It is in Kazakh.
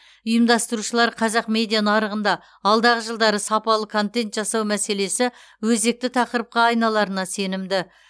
ұйымдастырушылар қазақ медиа нарығында алдағы жылдары сапалы контент жасау мәселесі өзекті тақырыпқа айналарына сенімді